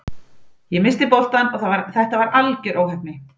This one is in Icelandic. Ég missti boltann og þetta var algjör óheppni.